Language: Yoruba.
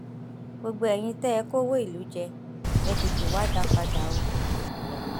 gbogbo eyín tẹ ẹ kọwọ ìlú jẹ ẹ tètè wáá dá a padà o